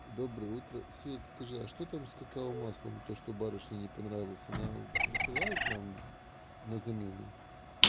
доброе утро свет скажи а что там с какао маслом то что барышне не понравилось она присылает нам на замену